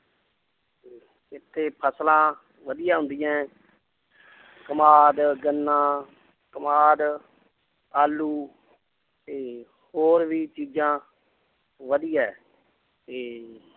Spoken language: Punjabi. ਇੱਥੇ ਫਸਲਾਂ ਵਧੀਆ ਹੁੰਦੀਆਂ ਹੈ ਕਮਾਦ, ਗੰਨਾ, ਕਮਾਦ, ਆਲੂ ਤੇ ਹੋਰ ਵੀ ਚੀਜ਼ਾਂ ਵਧੀਆ ਹੈ ਤੇ